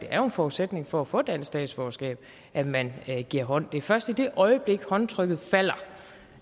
er en forudsætning for at få dansk statsborgerskab at man giver hånd det er først i det øjeblik håndtrykket falder